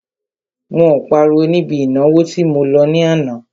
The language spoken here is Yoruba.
Wọn ò páriwo níbi ìnáwó tí mo lọ ní àná.